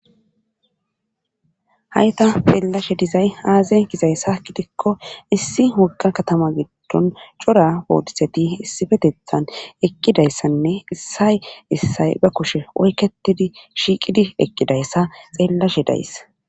hayta peellashe dizay aaze gizaysa gidikko issi wogga katama giddon cora bootiseti issifetethan eqqidayssanne issay issay ba kushe oyketidi shiiqidi eqqidayssa xeellashe days